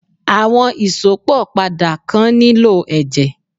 Àwọn Ìsópọ̀ padà kan nílò ẹ̀jẹ̀